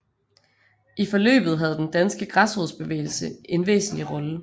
I forløbet havde den danske græsrodsbevægelse en væsentlig rolle